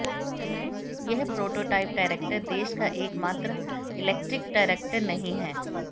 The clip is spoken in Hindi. यह प्रोटोटाइप ट्रैक्टर देश का एकमात्र इलेक्ट्रिक ट्रैक्टर नहीं है